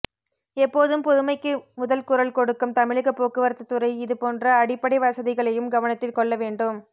எப்போதும் புதுமைக்கு முதல் குரல் கொடுக்கும் தமிழக போக்குவரத்து துறை இது போன்ற அடிப்படைவசதிகளையும் கவனத்தில் கொள்ள வேண்டும்